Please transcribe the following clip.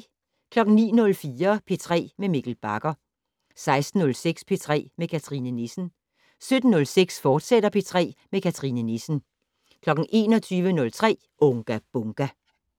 09:04: P3 med Mikkel Bagger 16:06: P3 med Cathrine Nissen 17:06: P3 med Cathrine Nissen, fortsat 21:03: Unga Bunga!